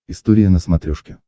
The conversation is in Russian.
история на смотрешке